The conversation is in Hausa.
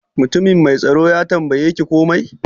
Mutumin mai tsaro ya tambaye ki komai?